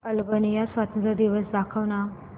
Albania स्वातंत्र्य दिवस दाखव ना